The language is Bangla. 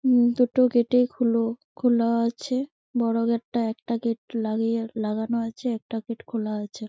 উম দুটো গেটই গেট খোলো খোলা আছে বোরো গেট টা একটা গেট লাগিয়ে লাগানো আছে একটা গেট খোলা আছে |